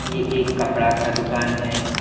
ये एक कपड़ा का दुकान है।